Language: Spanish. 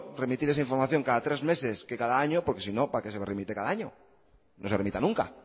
remitir esa información cada tres meses que cada año porque si no para qué se remite cada año que no se remita nunca